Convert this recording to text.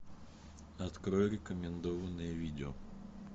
открой рекомендованные видео